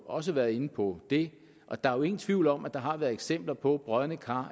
også været inde på det og der er jo ingen tvivl om at der har været eksempler på brodne kar